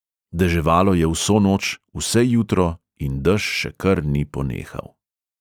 Deževalo je vso noč, vse jutro in dež še kar ni ponehal.